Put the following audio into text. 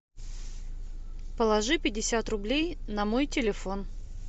положи пятьдесят рублей на мой телефон